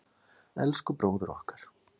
Elsku bróðir okkar.